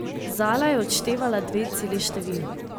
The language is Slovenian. Zala je odštevala dve celi števili.